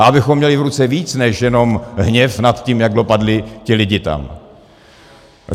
A abychom měli v ruce víc než jenom hněv nad tím, jak dopadli ti lidi tam.